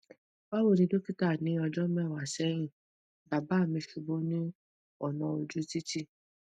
bawoni dokita ni ojo mewa sehin baba mi subu ni ona oju titi